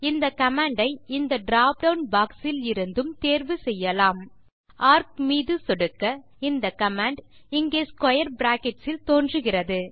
இந்த கமாண்ட் ஐ இந்த டிராப் டவுன் பாக்ஸ் இலிருந்தும் தேர்வு செய்யலாம் ஏஆர்சி மீது சொடுக்க இந்த கமாண்ட் இங்கே ஸ்க்வேர் பிராக்கெட்ஸ் இல் தோன்றுகிறது